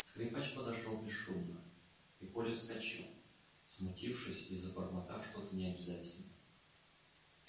скрипач подошёл бесшумно и коля вскочил смутившись и забормотав что то необязательное